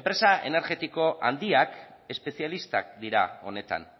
enpresa energetiko handiak espezialistak dira honetan